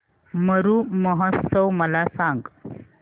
मरु महोत्सव मला सांग